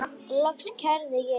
Loks kærði ég líka.